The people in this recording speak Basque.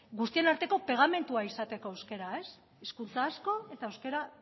guztien arteko pegamendua izateko euskara ez hizkuntza asko eta euskara